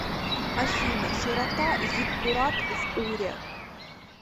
афина широта зиккурат в уре